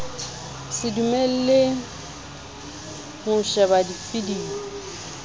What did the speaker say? se dumellwe ho shebella dividiyo